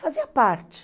Fazia parte.